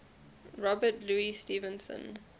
robert louis stevenson